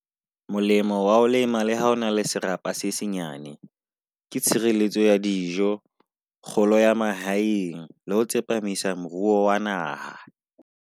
Molemo wa ho lema le ha o na le serapa se senyane, ke tshireletso ya dijo, kgolo ya mahaeng le ho tsepamisa moruo wa naha.